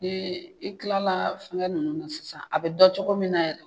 Ni i kilala fɛngɛ ninnu na sisan, a bɛ dɔn cogo min na yɛrɛ